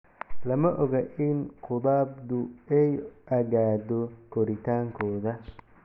Lama oga in khudabdu ay aggaddo koritaankooda.